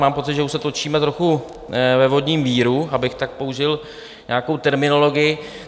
Mám pocit, že už se točíme trochu ve vodním víru, abych tak použil nějakou terminologii.